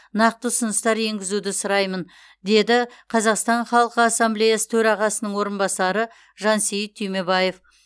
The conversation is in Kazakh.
нақты ұсыныстар енгізуді сұраймын деді қазақстан халық ассамблеясының төрағасының орынбасары жансейіт түймебаев